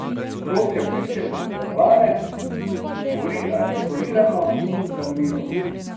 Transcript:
Rok je odličen pripovedovalec, govori artikulirano in zanimivo.